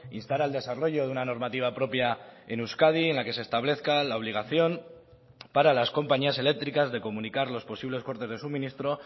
instar al desarrollo de una normativa propia en euskadi en la que se establezca la obligación para las compañías eléctricas de comunicar los posibles cortes de suministro